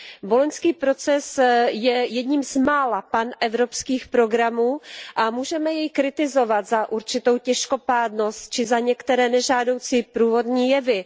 Boloňský proces je jedním z mála panevropských programů a můžeme jej kritizovat za určitou těžkopádnost či za některé nežádoucí průvodní jevy.